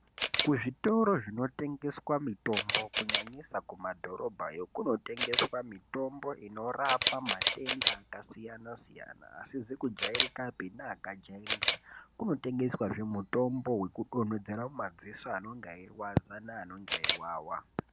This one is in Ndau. Kuzvitoro zvinotengeswa mitombo, kunyanyisa kumadhorobhayo, kunotengeswa mitombo inorapa matenda akasiyana-siyana, asizi kujaerekapi neakajaereka, kunotengeswazve mutombo wekudonhedzera mumadziso anenge eirwadza neanenge eiwawa.